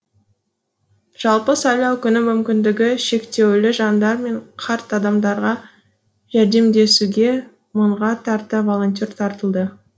жалпы сайлау күні мүмкіндігі шектеулі жандар мен қарт адамдарға жәрдемдесуге мыңға тарта волонтер тартылды